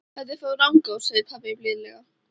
Þetta er frá Rangá, segir pabbi blíðlega.